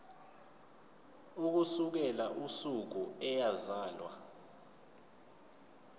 ukusukela usuku eyazalwa